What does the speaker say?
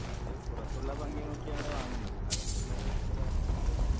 അവര് പുറത്തുള്ള ഭംഗി നോക്കിയാണ് വാങ്ങുന്നത് അകത്തുള്ളത് അവർ ആലോചിക്കുന്നില്ല